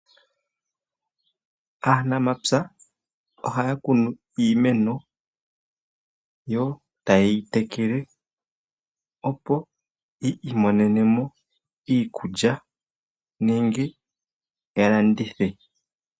Aanamapya ohaya kunu iimeno yo tayeyi tekele opo yi imonenemo iikulya nenge yalandithe.